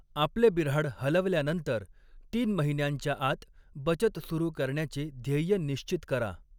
आपले बिऱ्हाड हलवल्यानंतर तीन महिन्यांच्या आत बचत सुरू करण्याचे ध्येय निश्चित करा.